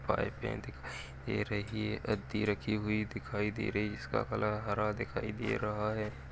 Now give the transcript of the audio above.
ये रही अधी रखी हुई दिखाई दे रही है जिसका कलर हरा दिखाई दे रहा है |